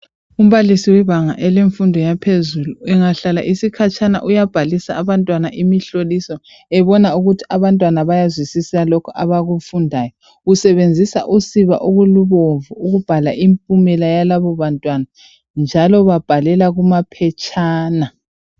Umbalisi webanga elemfundo eyaphezulu engahlala isikhatshana uyabhalisa abantwana imihloliso ebona ukuthi abantwana bayazwisisa lokho abakufundayo. Usebenzisa usiba olubomvu ukubhala impumela yalabobantwana njalo babhalela kumaphetshana.